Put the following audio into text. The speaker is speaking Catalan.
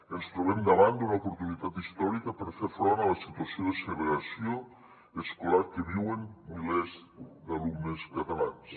ens trobem davant d’una oportunitat històrica per fer front a la situació de segregació escolar que viuen milers d’alumnes catalans